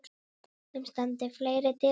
Þeim standi fleiri dyr opnar.